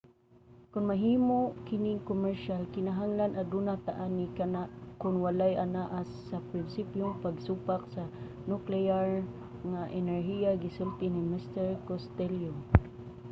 "kon mahimo kining komersyal kinahanglan aduna ta ani. kana kon walay anaa sa prinsipyong pagsupak sa nukleyar nga enerhiya gisulti ni mr. costello